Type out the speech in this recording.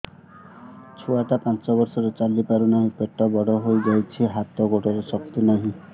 ଛୁଆଟା ପାଞ୍ଚ ବର୍ଷର ଚାଲି ପାରୁନାହଁ ପେଟ ବଡ ହୋଇ ଯାଉଛି ହାତ ଗୋଡ଼ର ଶକ୍ତି ନାହିଁ